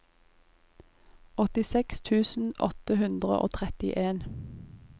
åttiseks tusen åtte hundre og trettien